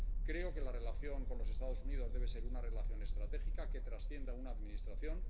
Creo que la relación con los Estados Unidos debe ser una relación estratégica, que trascienda a una Administración.